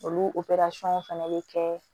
Olu fɛnɛ bɛ kɛ